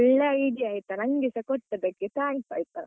ಒಳ್ಳೆ idea ಆಯ್ತಾ ನನ್ಗೆಸ ಕೊಟ್ಟದ್ದಕ್ಕೆ thanks ಆಯ್ತಾ.